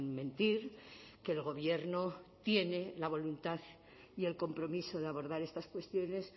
mentir que el gobierno tiene la voluntad y el compromiso de abordar estas cuestiones